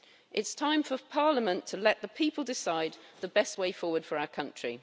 It's time for the UK Parliament to let the people decide the best way forward for our country.